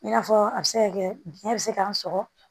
I n'a fɔ a bɛ se ka kɛ biyɛn bɛ se k'a sɔgɔ